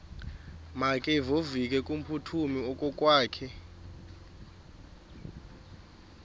makevovike kumphuthumi okokwakhe